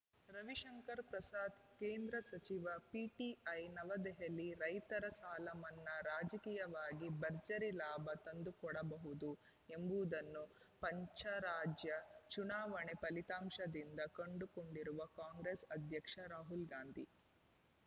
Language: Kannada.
ರವಿಶಂಕರ್‌ ಪ್ರಸಾದ್‌ ಕೇಂದ್ರ ಸಚಿವ ಪಿಟಿಐ ನವದೆಹಲಿ ರೈತರ ಸಾಲ ಮನ್ನಾ ರಾಜಕೀಯವಾಗಿ ಭರ್ಜರಿ ಲಾಭ ತಂದುಕೊಡಬಹುದು ಎಂಬುದನ್ನು ಪಂಚರಾಜ್ಯ ಚುನಾವಣಾ ಫಲಿತಾಂಶದಿಂದ ಕಂಡುಕೊಂಡಿರುವ ಕಾಂಗ್ರೆಸ್‌ ಅಧ್ಯಕ್ಷ ರಾಹುಲ್‌ ಗಾಂಧಿ